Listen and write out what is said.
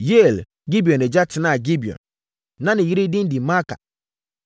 Yeiel (Gibeon agya) tenaa Gibeon. Na ne yere din de Maaka,